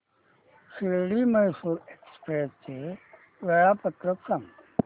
Shirdi Mysore express चे वेळापत्रक सांग